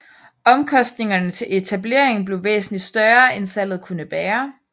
Omkostningerne til etableringen blev væsentlig større end salget kunne bære